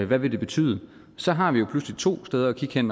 hvad det vil betyde så har vi jo pludselig to steder at kigge hen